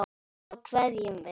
Svo kveðjum við.